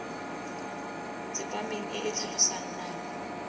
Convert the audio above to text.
tsepameng e e tlhalosang nako